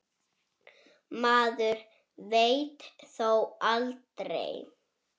Maður veit þó aldrei.